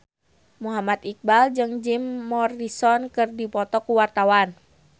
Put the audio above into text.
Muhammad Iqbal jeung Jim Morrison keur dipoto ku wartawan